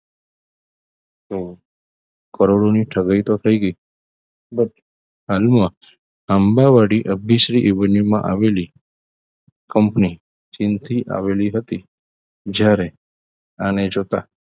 તો કરોડોની ઠગાઈ તો થઈ ગઈ પણ હાલમાં આંબાવાડી MBCevanue માં આવેલી company ચીનથી આવેલી હતી જ્યારે આને જોતા